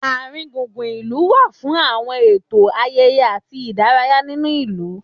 Àringbùngbùn ìlú wá fún àwọn ètò, ayẹyẹ àti ìdárayá nínú ìlú